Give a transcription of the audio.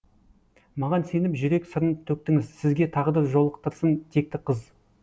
маған сеніп жүрек сырын төктіңіз сізге тағдыр жолықтырсын текті қыз